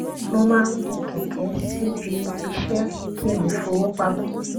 mo máa ń gun kẹkẹ síbi iṣẹ kí n lè fọwó pamọ